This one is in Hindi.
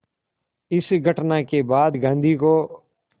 इस घटना के बाद गांधी को